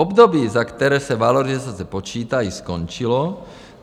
Období, za které se valorizace počítají, skončilo.